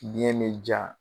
ɲɛ ne diya